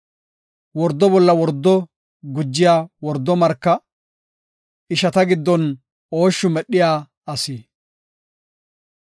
Wordo bolla wordo gujiya wordo marka, ishata giddon ooshshi medhiya asi.